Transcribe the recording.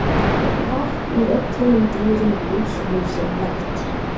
Vatn er öllum dýrum lífsnauðsynlegt.